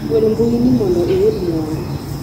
gwel mbui ni mondo iyud mwandu